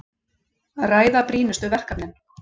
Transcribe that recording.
Ræða brýnustu verkefnin